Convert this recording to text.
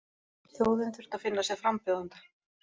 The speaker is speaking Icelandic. Þjóðin þurfti að finna sér frambjóðanda